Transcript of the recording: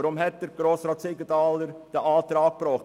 Weshalb hat Grossrat Siegenthaler diesen Antrag gestellt?